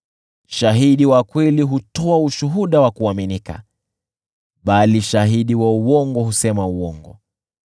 Shahidi wa kweli hutoa ushuhuda wa kuaminika, bali shahidi wa uongo husema uongo.